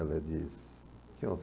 Ela diz, tinha uns